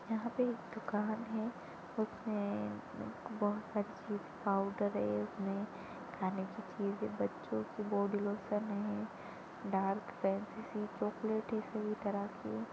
यहाँ पर एक दुकान है उसमे बहुत सारी चीज पाउडर है इसमे खाने की चीज़ है बच्चों की बॉडी लोशन है डार्क